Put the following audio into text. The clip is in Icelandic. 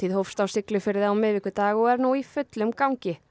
hófst á Siglufirði á miðvikudag og er nú í fullum gangi